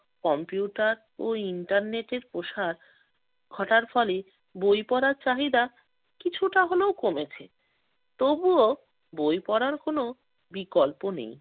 Computer ও ইন্টারনেটের প্রসার ঘটার ফলে বই পড়ার চাহিদা কিছুটা হলেও কমেছে। তবুও বই পড়ার কোনো বিকল্প নেই।